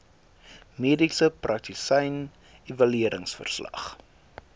mediese praktisyn evalueringsverslag